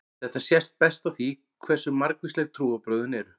Þetta sést best á því hversu margvísleg trúarbrögðin eru.